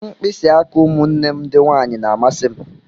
Mkpịsị aka ụmụnne m ndị nwanyị na-amasị m.